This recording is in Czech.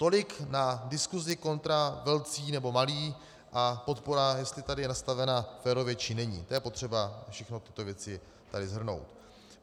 Tolik na diskusi kontra velcí nebo malí a podpora, jestli tady je nastavena férově či není, to je potřeba všechny tyto věci tady shrnout.